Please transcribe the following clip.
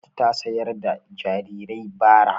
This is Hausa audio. Hannatu ta sayar da kayan jarirai bara.